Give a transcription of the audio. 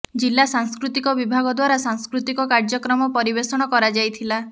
ଜିଲ୍ଲା ସାଂସ୍କୃତିକ ବିଭାଗ ଦ୍ୱାରା ସାଂସ୍କୃତିକ କାର୍ଯ୍ୟକ୍ରମ ପରିବେଷଣ କରାଯାଇଥିଲା